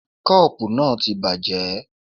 Koopu náà ti bàjẹ́.